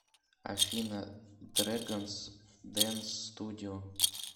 афина дрэганс дэнс студио